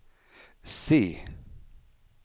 C